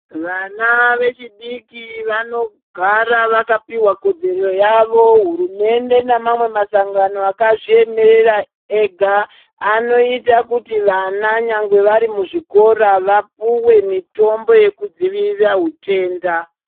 Vana vechidiki vanogara vakapihwa kodzero yawo hurumende nemasangano akazviemera ega anoita kuti vana nyangwe vari muzvikora vapuwe mitombo yekudzivirira hutenda.